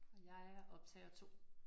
Og jeg er optager 2